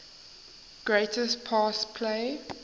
greatest pass play